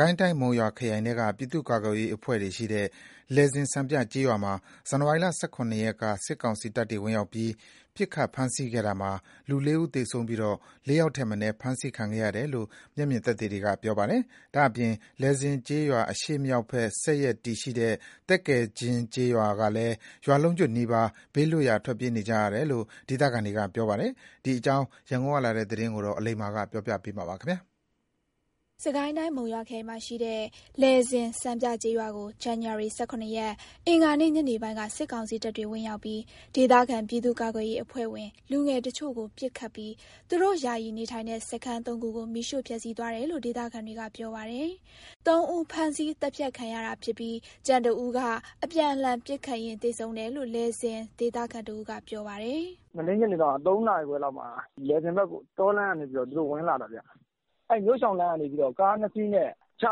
ကိုင်းတိုင်း၊ မုံရွာခရိုင်ထဲက ပြည်သူ့ကာကွယ်ရေးအဖွဲ့တွေရှိတဲ့ လယ်ဇင်စံပြကျေးရွာမှာ ဇန်နဝါရီ ၁၇ ရက်က စစ်ကောင်စီတပ်တွေဝင်ရောက်ပြီး ပစ်ခတ်ဖမ်းဆီးခဲ့တာမှာ ၄ ဦးသေဆုံးပြီး၊ ၄ ယောက်ထက်မနည်း ဖမ်းဆီးခံခဲ့ရတယ်လို့ မျက်မြင်တွေ့သူတွေက ပြောပါတယ်။ ဒါ့အပြင် လယ်ဇင်ကျေးရွာအရှေ့မြောက်ဘက်ဆက်ရက်တည်ရှိတဲ့ သက္ကယ်ကျင်းကျေးရွာကလည်း ရွာလုံးကျွတ်နီးပါး ဘေးလွတ်ရာထွက်ပြေးနေကြရတယ်လို့ ကာယကံရှင်တွေက ပြောပါတယ်။ ဒီအကြောင်း ရန်ကုန်ကလာတဲ့သတင်းကို အလိမ္မာပြောပြမှာပါ။ စစ်ကိုင်းတိုင်း၊ မုံရွာခရိုင်မှာရှိတဲ့ လယ်ဇင်စံပြကျေးရွာကို ဇန်နဝါရီ ၁၇ ရက် အင်္ဂါနေ့ ညနေပိုင်းက စစ်ကောင်စီတပ်တွေ ဝင်ရောက်ပြီး ဒေသခံပြည်သူ့ကာကွယ်ရေးအဖွဲ့ဝင် လူငယ်တချို့ကိုပစ်ခတ်ပြီး သူတို့ယာယီနေထိုင်တဲ့ စခန်း ၃ ခုကို မီးရှို့ဖျက်စီးသွားတယ်လို့ ဒေသခံတွေကပြောပါတယ်။ ၃ ဦး ဖမ်းဆီးသတ်ဖြတ်ခံရတာဖြစ်ပြီး ကျန် ၁ ဦးက အပြန်အလှန်ပစ်ခတ်ရင်းသေဆုံးတယ်လို့ လယ်ဇင်ဒေသခံတဦးက ပြောပြပါတယ်။ "မနေ့ညနေတုန်းက ၃ နာရီခွဲလောက်မှာ လယ်ဇင်ဘက်ကို တောလမ်းကနေ သူတို့ဝင်လာတာဗျ။ အဲဒီမြို့ရှောင်လမ်းကနေပြီးတော့ ကား ၂ စီးနဲ့ ချ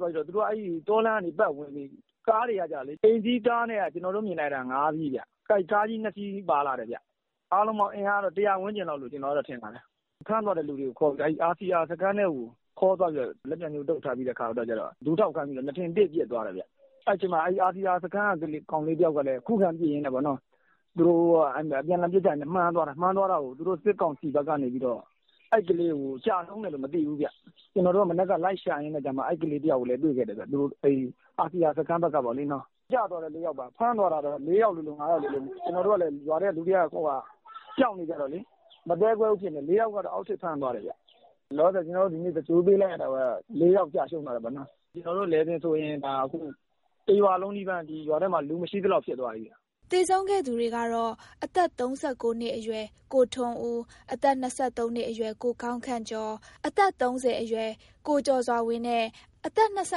သွားပြီးတော့ သူတို့က တောလမ်းကနေပတ်ဝင်ပြီး ကားတွေကလေ ကျနော်တို့မြင်လိုက်တာ အိမ်စီးကားက ၅ စီးဗျ။ ပြီးတော့ ကားကြီး ၂ စီးပါလာတယ်ဗျ။ အားလုံးပေါင်း အင်အားကတော့ ၁၀၀ ဝန်းကျင်လောက်တော့ ထင်တယ်ဗျ။ ဖမ်းသွားတဲ့သူတွေကို RCR (Red Code Revolution) စခန်းထဲကို ခေါ်သွားပြီးတော့ လက်ပြန်ကြိုးတုတ်ပြီးတော့ ဒူးထောက်ခိုင်းပြီးတော့ နားထင်တေ့ပစ်သွားတယ်ဗျ။ အဲဒီအချိန်မှာ RCR စခန်းက လူငယ်တယောက်ကလည်း ခုခံပစ်ရင်းနဲ့ သူတို့အပြန်အလှန်ပစ်ခတ်ရင်းနဲ့ မှန်သွားတာကို သူတို့စစ်ကောင်စီဘက်ကနေပြီးတော့ အဲ့ကလေးကို ကျဆုံးတယ်လို့မသိဘူးဗျ။ ကျနော်တို့က မနက်ကလိုက်ရှာရင်းနဲ့ အဲ့ RCR စခန်းဘက်က ကလေးတယောက်ကိုလည်း တွေ့တယ်ဗျ။ ကျသွားတာက ၄ ယောက်ပါ။ ဖမ်းသွားတာကတော့ ၄ ယောက်လိုလို၊ ၅ ယောက်လိုလို ရွာထဲလူတွေကလည်း ကြောက်နေကြတော့လေ မသဲကွဲဘူးဖြစ်နေတယ်။ ၄ ယောက်ကတော့ အောက်ထစ်ဖမ်းသွားတယ်ဗျ။ လောလောဆယ် ကျနော်တို့ ဒီနေ့သင်္ဂြိုလ်ပေးလိုက်ရတာက ၄ ယောက် ကျဆုံးသွားတယ်ပေါ့နော်။ ကျနော်တို့လယ်ဇင်ဆိုရင် တရွာလုံးကို လူမရှိသလောက်ဖြစ်သွားပြီဗျ။" သေဆုံးခဲ့သူတွေကတော့ အသက် ၃၉ နှစ်အရွယ် ကိုထွန်းဦး၊ အသက် ၂၃ နှစ်အရွယ် ကိုကောင်းခန့်ကျော်၊ အသက် ၃၀ အရွယ် ကိုကျော်စွာဝင်းနဲ့ အသက် ၂၅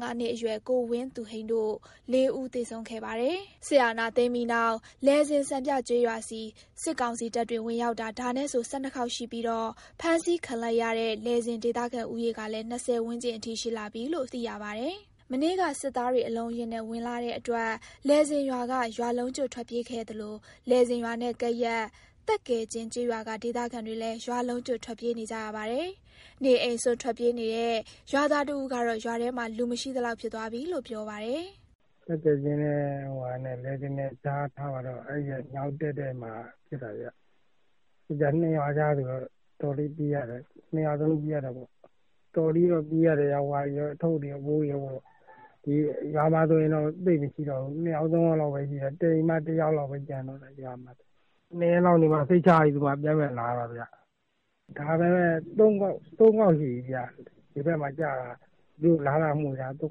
နှစ်အရွယ် ကိုဝင်းသူဟိန်းတို့ ၄ ဦးသေဆုံးခဲ့ပါတယ်။ စစ်အာဏာသိမ်းပြီးနောက် လယ်ဇင်စံပြကျေးရွာဆီ စစ်ကောင်စီတပ်တွေ ဝင်ရောက်တာ ဒါနဲ့ဆို ၁၂ ခေါက်ရှိပြီးတော့ ဖမ်းဆီးခံလိုက်ရတဲ့ လယ်ဇင်ဒေသခံ ဦးရေကလည်း ၂၀ ဝန်းကျင်အထိ ရှိလာပြီလို့ သိရပါတယ်။ မနေ့က စစ်သားတွေအလုံးအရင်းနဲ့ ဝင်လာတဲ့အတွက် လယ်ဇင်ရွာက ရွာလုံးကျွတ် ထွက်ပြေးခဲ့ကြသလို လယ်ဇင်ရွာနဲ့ ကပ်ရက် သက္ကယ်ကျင်းကျေးရွာက ဒေသခံတွေလည်း ရွာလုံးကျွတ် ထွက်ပြေးနေကြရပါတယ်။ နေအိမ်စွန့်ထွက်ပြေးနေရတဲ့ ရွာသားတဦးကတော့ ရွာထဲမှာ လူမရှိသလောက်ဖြစ်သွားပြီလို့ ပြောပါတယ်။ "သက္ကယ်ကျင်းနဲ့ လယ်ဇင်နဲ့ကြားထားပါတော့ အဲဒီရဲ့နောက်တည့်တည့်မှာ ဖြစ်တာဗျ။ ၂ ရွာကြားဆိုတော့ တော်တော်လေး ၂ ရွာလုံးပြေးရတာပေါ့။ အထုတ်အပိုးတွေနဲ့ တော်တော်လေးတော့ ပြေးရတယ်ဗျ။ ရွာမှာဆိုရင် သိပ်မရှိတော့ဘူး ၂ ယောက်၊ ၃ ယောက်လောက်ပဲ ရှိတော့တာ။ ၂ ရက်လောက်နေမှ စိတ်ချရပြီဆိုမှ ပြန်ပြန်လာရတာဗျ။ ဒီဘက်မှာ သူတို့တွေလာလာမွှေတာ ၃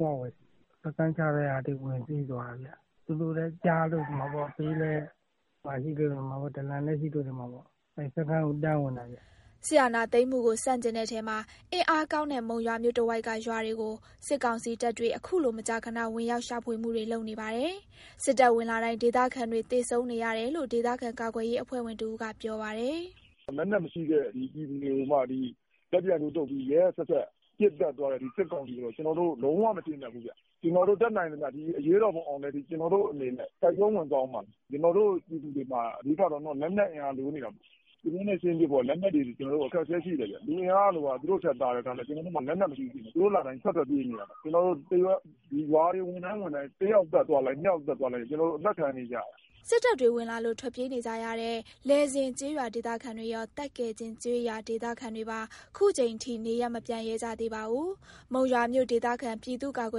ခေါက်လောက်ရှိပြီဗျ။ လူငယ်တွေစခန်းချတဲ့နေရာ သူတို့ဝင်စီးသွားတာဗျ။ သူတို့လည်းကြားလို့ နေမှာပေါ့၊ ဒလံရှိလို့လည်း နေမှာပေါ့။ အဲဒီစခန်းကိုတန်းဝင်တာဗျ။" စစ်အာဏာသိမ်းမှုကို ဆန့်ကျင်တဲ့ထဲမှာ အင်အားကောင်းတဲ့ မုံရွာမြို့တဝိုက်က ရွာတွေကို စစ်ကောင်စီတပ်တွေ အခုလို မကြာခဏ ဝင်ရောက်ရှာဖွေမှုတွေလုပ်နေပါတယ်။ စစ်တပ်ဝင်လာတိုင်း ဒေသခံတွေ သေဆုံးနေရတယ်လို့ ဒေသခံကာကွယ်ရေးအဖွဲ့ဝင် တဦးကပြောပါတယ်။ "လက်နက်မရှိတဲ့ပြည်သူတွေကိုမှ လက်ပြန်ကြိုးတုတ်ပြီး ရက်ရက်စက်စက် ပစ်သတ်သွားတဲ့စစ်ကောင်စီကို ကျနော်တို့ လုံးဝမကျေနပ်ဘူး။ ကျနော်တို့ တတ်နိုင်သမျှ ဒီအရေးတော်ပုံ အောင်တဲ့အထိ ကျနော်တို့အနေနဲ့ တိုက်ပွဲဝင်သွားဦးမှာ။ ကျနော်တို့ပြည်သူတွေမှာ အဓိကလိုနေတာ လက်နက်အင်အားလိုနေတာ။ သူတို့နဲ့ယှဉ်ပစ်ဖို့က လက်နက်တွေအခက်အခဲရှိတယ်ဗျ။ လူအင်အားက သူတို့ထက်သာရဲ့သားနဲ့ ကျနော်တို့မှာ လက်နက်မရှိဘူးဖြစ်နေတာ။ သူတို့လာတိုင်း ထွက်ထွက်ပြေးနေရတာ။ သူတို့ရွာတွေဝင်တိုင်း ဝင်တိုင်း တယောက်သတ်သွားလိုက်၊ နှစ်ယောက်သတ်သွားလိုက်နဲ့ သတ်နေတာ။" စစ်တပ်တွေဝင်လာလို့ ထွက်ပြေးနေကြရတဲ့ လယ်ဇင်ကျေးရွာဒေသခံတွေရော၊ သက္ကယ်ကျင်းကျေးရွာ ဒေသခံတွေပါ ခုချိန်ထိ နေရပ်မပြန်ရဲကြသေးပါဘူး။ မုံရွာမြို့ဒေသခံ ပြည်သူ့ကာကွ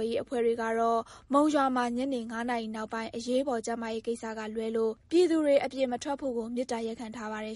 ယ်ရေးအဖွဲ့တွေကတော့ မုံရွာမှာ ညနေ ၅ နာရီနောက်ပိုင်း အရေးပေါ် ကျန်းမာရေးကိစ္စကလွဲလို့ ပြည်သူတွေအပြင်မထွက်ဖို့ကို မေတ္တာရပ်ခံထားပါတယ်